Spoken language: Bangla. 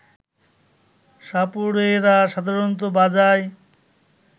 সাপুড়েরা সাধারণত বাজায়